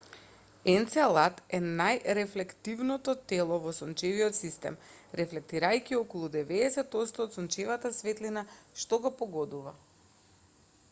енцелад е најрефлективното тело во сончевиот систем рефлектирајќи околу 90 отсто од сончевата светлина што го погодува